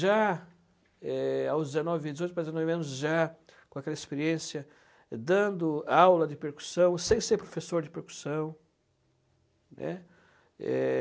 Já eh, aos dezenove, dezoito para dezenove anos, já com aquela experiência, dando aula de percussão, sem ser professor de percussão, né. É...